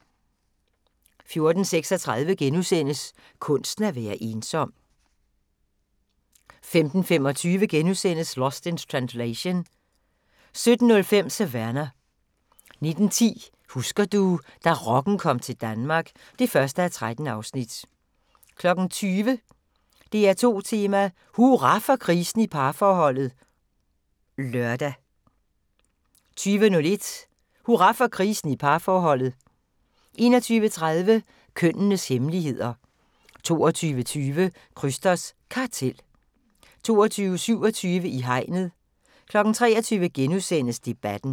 14:36: Kunsten at være ensom * 15:25: Lost in Translation * 17:05: Savannah 19:10: Husker du – da rocken kom til Danmark (1:13) 20:00: DR2 Tema: Hurra for krisen i parforholdet (lør) 20:01: Hurra for krisen i parforholdet 21:30: Kønnenes hemmeligheder 22:20: Krysters Kartel 22:27: I hegnet 23:00: Debatten *